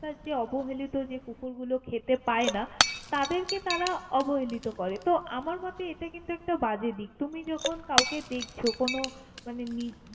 রাস্তার যে অবহেলিত কুকুরগুলো খেতে পায় না তাদের কে তারা অবহেলিত করে, তো আমার মতে এটা কিন্তু একটা বাজে দিক, তুমি যখন কাউকে দেখছ কোনও মানে।